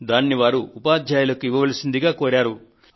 దానిని వారు ఉపాధ్యాయులకు ఇవ్వవలసిందిగా కోరారు